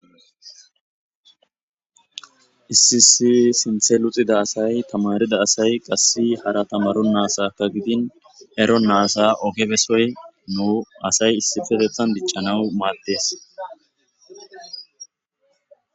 Issi si sinthe luxida asay tamarida asay qassi hara tamaru naasaka gidin ero naasa ogebesoy nu asay issifetethan diccanawu maattes